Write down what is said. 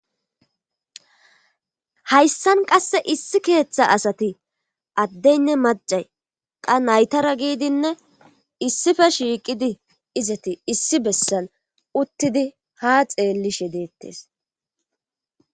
Hayssan qasse issi keeththa asati addeynne macay qa naytara giidinne issife shiiqidi izati issi bessan uttidi ha xeellishe deettes.